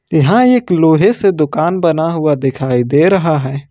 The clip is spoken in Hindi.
यहां एक लोहे से दुकान बना हुआ दिखाई दे रहा है।